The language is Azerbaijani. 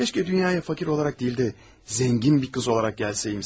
Kaş dünyaya fakir olaraq deyil də, zəngin bir qız olaraq gəlsəymişsin.